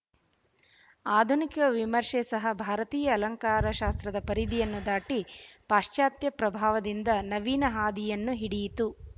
ಆಧುನಿಕ ವಿಮರ್ಷೆ ಸಹ ಭಾರತೀಯ ಅಲಂಕಾರಶಾಸ್ತ್ರದ ಪರಿಧಿಯನ್ನು ದಾಟಿ ಪಾಶಚಾತ್ಯ ಪ್ರಭಾವದಿಂದ ನವೀನ ಹಾದಿಯನ್ನು ಹಿಡಿಯಿತು